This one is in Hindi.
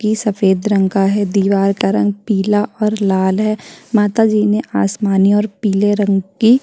की सफेद रंग का है दीवार का रंग पीला और लाल है माता जी ने आसमानी और पिले रंग की --